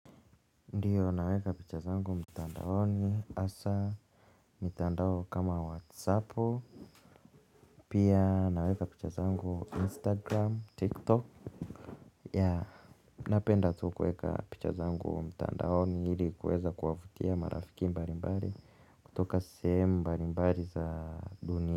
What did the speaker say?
Ndio naweka picha zangu mtandaoni hasa mitandao kama whatsappu pia naweka picha zangu instagram, tiktok. Yah napenda tu kueka picha zangu mtandaoni ili kuweza kuwafutia marafiki mbali mbali kutoka sehemu mbali mbali za dunia.